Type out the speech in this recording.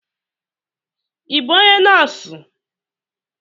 I bụ ónyé nọọsụ,m